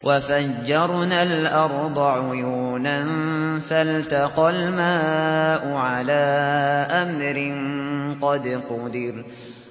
وَفَجَّرْنَا الْأَرْضَ عُيُونًا فَالْتَقَى الْمَاءُ عَلَىٰ أَمْرٍ قَدْ قُدِرَ